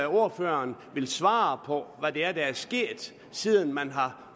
ordføreren ville svare på hvad det er der er sket siden man har